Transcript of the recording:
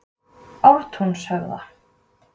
Ártúnshöfða